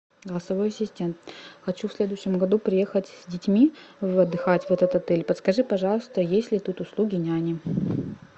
голосовой ассистент хочу в следующем году приехать с детьми отдыхать в этот отель подскажи пожалуйста есть ли тут услуги няни